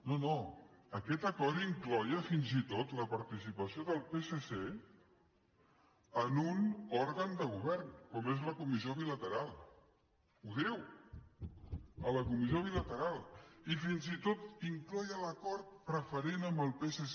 no no aquest acord incloïa fins i tot la participació del psc en un òrgan de govern com és la comissió bilateral ho diu a la comissió bilateral i fins i tot incloïa l’acord preferent amb el psc